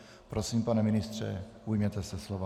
Prosím, pane ministře, ujměte se slova.